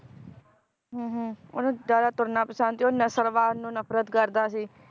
ਹਮ ਹਮ ਓਹਨੂੰ ਜ਼ਿਆਦਾ ਤੁਰਨਾ ਪਸੰਦ ਤੇ ਉਹ ਨਸਲਵਾਦ ਨੂੰ ਨਫਰਤ ਕਰਦਾ ਸੀ